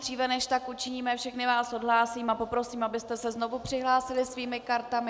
Dříve než tak učiníme, všechny vás odhlásím a poprosím, abyste se znovu přihlásili svými kartami.